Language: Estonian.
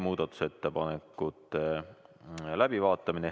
Muudatusettepanekute läbivaatamine.